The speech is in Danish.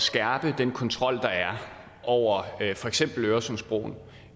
skærpe den kontrol der er over for eksempel øresundsbroen